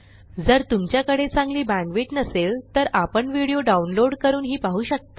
जर तुमच्याकडे चांगली बॅण्डविड्थ नसेल तर आपण व्हिडिओ डाउनलोड करूनही पाहू शकता